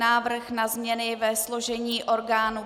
Návrh na změny ve složení orgánů